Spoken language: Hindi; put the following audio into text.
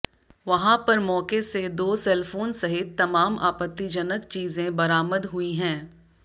वहां पर मौके से दो सेलफोन सहित तमाम आपत्तिजनक चीजें बरामद हुई हैं